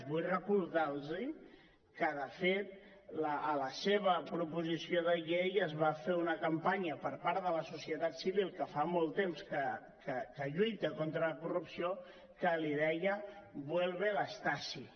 vull recordar los que de fet contra la seva proposició de llei es va fer una campanya per part de la societat civil que fa molt temps que lluita contra la corrupció que li deia vuelve la stasi